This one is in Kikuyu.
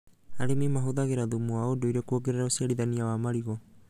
Arĩmi mahũthagĩra thumu wa ũndũire kuongerera ũciarithania wa marigũ